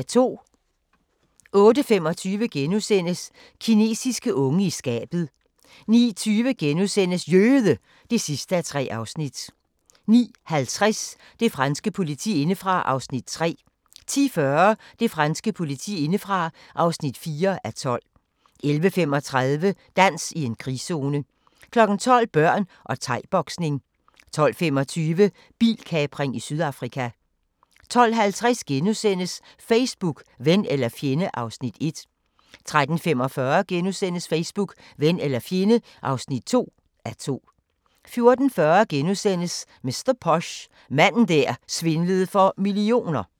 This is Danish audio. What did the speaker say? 08:25: Kinesiske unge i skabet * 09:20: Jøde! (3:3)* 09:50: Det franske politi indefra (3:12) 10:40: Det franske politi indefra (4:12) 11:35: Dans i en krigszone 12:00: Børn og thai-boksning 12:25: Bilkapring i Sydafrika 12:50: Facebook - ven eller fjende (1:2)* 13:45: Facebook – ven eller fjende (2:2)* 14:40: Mr. Posh: Manden der svindlede for millioner *